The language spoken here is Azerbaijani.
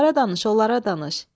Onlara danış, onlara danış.